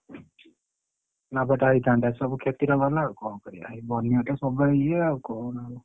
ଲାଭ ଟା ହେଇଥାନ୍ତା ସବୁ କ୍ଷତି ରେ ଗଲା ଆଉ କଣ କରିଆ ଏଇ ବନ୍ୟାଟା ସବୁପାଇଁ ଇଏ ଆଉ କଣ ଆଉ?